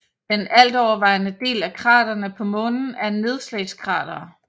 Den altovervejende del af kraterne på Månen er nedslagskratere